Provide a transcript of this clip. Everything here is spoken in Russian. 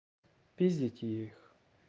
пиздите их